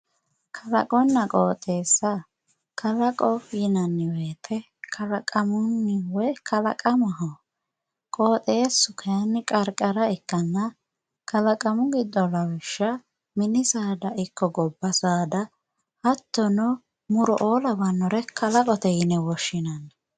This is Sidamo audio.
Kalaqonna qooxeessa, kalaqo yinanni woyite kalaqamunni woy kalaqamaho. Qooxeessu kayinni qarqara ikkanna kalaqamu giddo lawishsha mini saada ikko gobba saada muro''oo lawinore kalaqote yine woshshinanni.